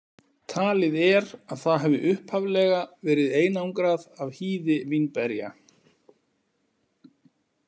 Talið er að það hafi upphaflega verið einangrað af hýði vínberja.